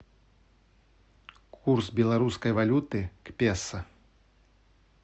курс белорусской валюты к песо